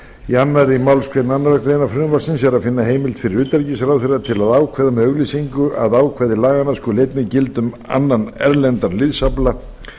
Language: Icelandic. í annarri málsgrein annarrar greinar frumvarpsins er að finna heimild fyrir utanríkisráðherra til að ákveða með auglýsingu að ákvæði laganna skuli einnig gilda um annan erlendan liðsafla